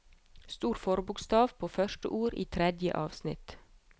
Stor forbokstav på første ord i tredje avsnitt